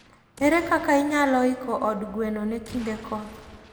Ere kaka inyalo iko od gweno ne kinde koth?